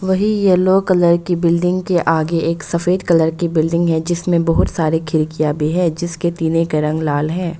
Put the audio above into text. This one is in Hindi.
वही येलो कलर की बिल्डिंग के आगे एक सफेद कलर की बिल्डिंग है जिसमें बहुत सारे खिड़कियां भी है जिसके टिने के रंग लाल है।